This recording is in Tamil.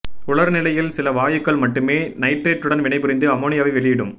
உலர் நிலையில் சில வாயுக்கள் மட்டுமே நைட்ரேட்டுடன் வினைபுரிந்து அமோனியாவை வெளியிடும்